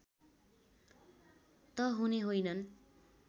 त हुने होइनन्